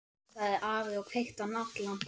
sagði afi og kveikti á náttlampanum.